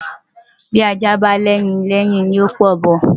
Bí Ajá bá lẹ́ni lẹ́yìn yóò p'ọ̀bọ.